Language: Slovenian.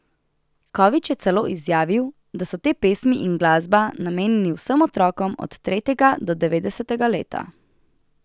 Kovič je celo izjavil, da so te pesmi in glasba namenjeni vsem otrokom od tretjega do devetdesetega leta.